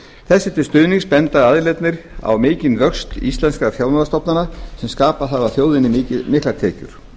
þessu til stuðnings benda aðilarnir á mikinn vöxt íslenskra fjármálastofnana sem skapað hafa þjóðinni miklar tekjur